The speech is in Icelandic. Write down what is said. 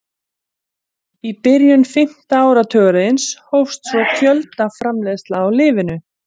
Einstaklingurinn missir meðvitund í stuttan tíma og man ekki hvað hefur gerst.